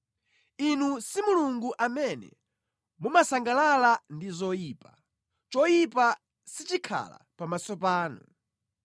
Inu si Mulungu amene mumasangalala ndi zoyipa; choyipa sichikhala pamaso panu.